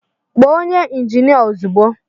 Kpọọ onye injinia ozugbo!